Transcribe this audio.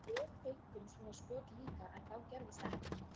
Við fengum svona skot líka en þá gerðist ekkert.